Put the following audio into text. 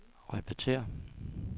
repetér